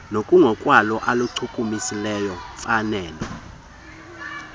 ngokunokwalo aluchukumisi mfanelo